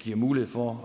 giver mulighed for